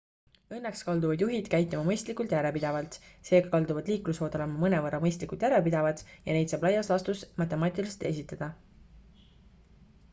õnneks kalduvad juhid käituma mõistlikult järjepidevalt seega kalduvad liiklusvood olema mõnevõrra mõistlikult järjepidevad ja neid saab laias laastus matemaatiliselt esitada